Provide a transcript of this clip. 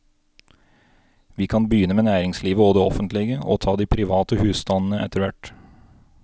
Vi kan begynne med næringslivet og det offentlige, og ta de private husstandene etterhvert.